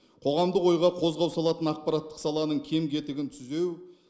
қоғамдық ойға қозғау салатын ақпараттық саланың кем кетігін түзеу